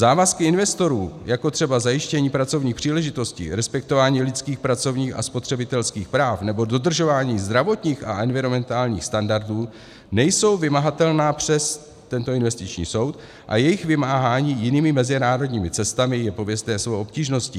Závazky investorů, jako třeba zajištění pracovních příležitostí, respektování lidských pracovních a spotřebitelských práv nebo dodržování zdravotních a environmentálních standardů, nejsou vymahatelné přes tento investiční soud a jejich vymáhání jinými mezinárodními cestami je pověstné svou obtížností.